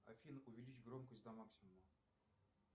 афина увеличь громкость до максимума